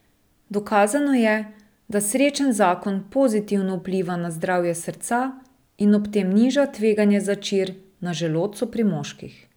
Dokazano je, da srečen zakon pozitivno vpliva na zdravje srca in da ob tem niža tveganje za čir na želodcu pri moških.